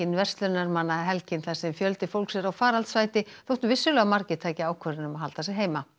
verslunarmannahelgin þar sem fjöldi fólks er á faraldsfæti þótt vissulega margir taki ákvörðun að halda sig heima